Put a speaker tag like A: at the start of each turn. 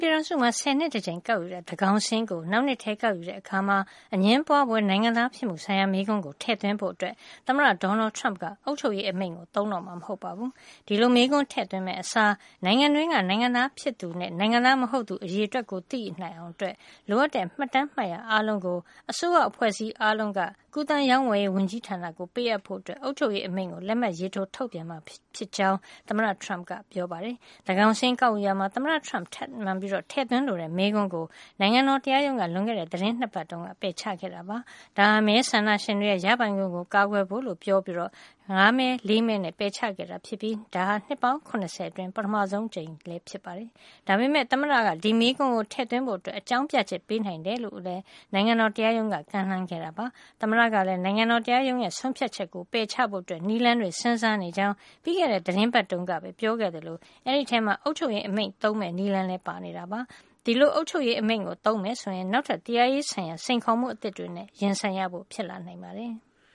A: ပြည်ထောင်စုမှာ ဆယ်နှစ်တကြိမ် ကောက်ယူတဲ့ သန်းခေါင်စာရင်းကို နောက်နှစ်ထဲ ကောက်ယူတဲ့အခါမှာ အငြင်းပွားဖွယ် နိုင်ငံသား ဖြစ်မှုဆိုင်ရာ မေးခွန်းကို ထည့်သွင်းဖို့ သမ္မတ Donald Trump က အုပ်ချုပ်ရေးအမိန့်ကို သုံးတော့မှာ မဟုတ်ပါဘူး။ ဒီလိုမေးခွန်းထည့်သွင်းမယ့်အစား နိုင်ငံတွင်းက နိုင်ငံသားဖြစ်သူနဲ့ နိုင်ငံသားမဟုတ်သူ အရေအတွက်ကို သိနိုင်အောင် လိုအပ်တဲ့ မှတ်တမ်းမှတ်ရာ အားလုံး ကူးသန်းရောင်းဝယ်ရေး ဝန်ကြီးဌာနကို ပေးအပ်ဖို့ အုပ်ချုပ်ရေးအမိန့်ကို လက်မှတ်ရေးထိုး ထုတ်ပြန်မှာ ဖြစ်ကြောင်း သမ္မတ Trump က ပြောပါတယ်။ သန်းကောင်စာရင်းကောက်ယူရာမှာ သမ္မတ Trump ထပ်မံ ထည့်သွင်းလိုတဲ့ မေးခွန်းကို နိုင်ငံတော် တရားရုံးက လွန်ခဲ့တဲ့ သီတင်း ၂ ပတ် တုန်းက ပယ်ချခဲ့တာပါ။ ဒါဟာ မဲဆန္ဒရှင်တွေရဲ့ ရပိုင်ခွင့်ကို ကာကွယ်ဖို့လို့ ပြောပြီး ၅ မဲ ၄ မဲ နဲ့ ပယ်ချခဲ့တာ ဖြစ်ပြီး နှစ်ပေါင်း ၇၀ အတွင်း ပထမဆုံး အကြိမ်လည်းဖြစ်ပါတယ်။ ဒါပေမယ့် သမ္မတက ဒီမေးခွန်းကို ထည့်သွင်းဖို့ အကြောင်းပြချက် ပေးနိုင်တယ်လို့လည်း နိုင်ငံတော် တရားရုံးက ကမ်းလှမ်းခဲ့တာပါ။ သမ္မတကလည်း နိုင်ငံတော် တရားရုံးရဲ့ ဆုံးဖြတ်ချက်ကို ပယ်ချဖို့ နည်းလမ်းတွေ စဉ်းစားနေကြောင်း ပြီးခဲ့တဲ့ သီတင်းပတ်တုန်းကပဲ ပြောခဲ့သလို အဲဒီထဲမှာ အုပ်ချုပ်ရေးအမိန့်သုံး မယ့် နည်းလမ်းလည်း ပါဝင်နေတာပါ။ ဒီလို အုပ်ချုပ်ရေးအမိန့်သုံး မယ်ဆိုရင် နောက်ထပ် တရားရေးဆိုင်ရာ စိန်ခေါ်မှု အသစ်တွေနဲ့ ရင်ဆိုင်
B: ရဖို့ ဖြစ်လာနိုင်ပါတယ်။